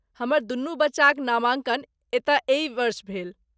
हमर दुनू बच्चाक नामाँकन एतय एहि वर्ष भेल।